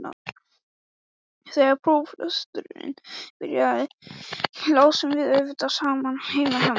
Þegar próflesturinn byrjaði lásum við auðvitað saman heima hjá mér.